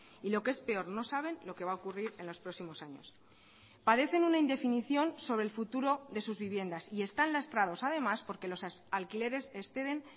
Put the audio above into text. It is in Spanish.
y lo que es peor no saben lo que va a ocurrir en los próximos años padecen una indefinición sobre el futuro de sus viviendas y están lastrados además porque los alquileres exceden